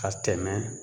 Ka tɛmɛ